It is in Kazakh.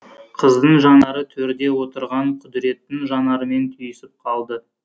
қыздың жанары төрде отырған құдіреттің жанарымен түйісіп қалды